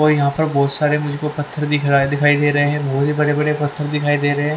और यहां पर बहुत सारे मुझको पत्थर दिख रहा है दिखाई दे रहे हैं बहुत ही बड़े बड़े पत्थर दिखाई दे रहे हैं।